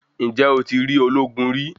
Ǹjẹ́ o ti rí ológun rí?